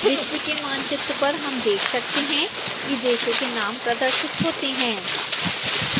विश्व के मानचित्र पर हम देख सकते हैं कि देशों के नाम प्रदर्शित होते हैं